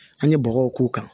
An ye bɔgɔw k'u kan